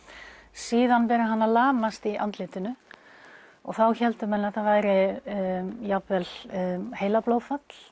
síðan byrjar hann að lamast í andlitinu og þá héldu menn að þetta væri jafnvel heilablóðfall